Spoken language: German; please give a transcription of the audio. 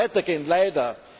Es wird weiter gehen. Leider!